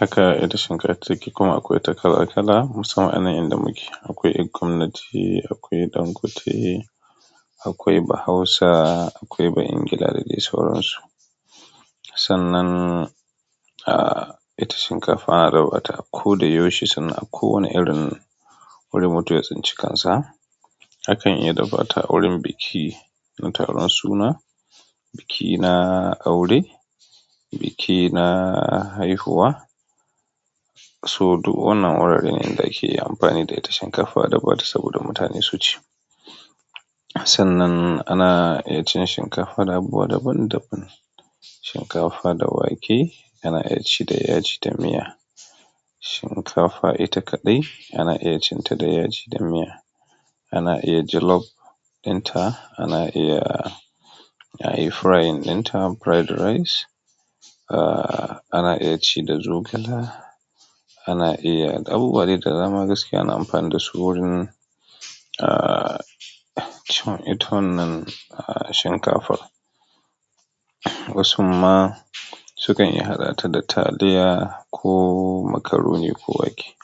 haka ita shinkafa take kuma akwai ta kala kala musamman anayin da muke. Akwai ƴan gwamnati, akwai yan gwate, akwai Bahausa, akwai Bayangila da dai sauransu. Sannan, ah, ita shinkafa na da bataku da yoshi sannan a kowane irin wurin mutum ya tsinci kansa. Akan iya dafata a wurin biki na taron suna, biki na aure, biki na haihuwa. To duk wannan wuraren ne da ake amfani da ita shinkafa dafata saboda mutane su ci. Sannan ana iya cin shinkafa dabuwa daban daban. Shinkafa da wake ana iya ci da yaji da miya. Shinkafa ita kaɗai ana iya cin ta da yaji da miya. Ana iya jalof inta, ana iya, ana iya frying inta fried rice. Ah, ana iya ci da zogala. Ana iya abu buwadai da dama gaskiya ana amfani da su wurin, ah, cin ita wannan, ah, shinkafar. Wasu ma sukan iya haɗa ta da taliya ko makaroni ko wake.